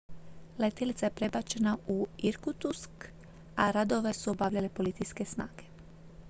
letjelica je prebačena u irkutsk a radove su obavljale policijske snage